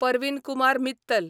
Parveen Kumar Mittal